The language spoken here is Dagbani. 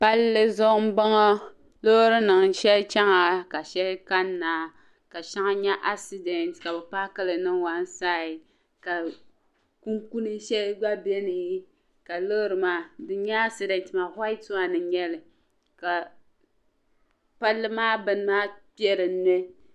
Palli zuɣu n bo ŋɔ loorinima shɛli chana ka shɛli kanna ka shɛŋa nye "accident" ka bi paaki li niŋ "one side" ka kunkun shɛli gba beni ka loori maa din nye "accident" maa "white one" n nyali ka palli maa bini maa kpe dinni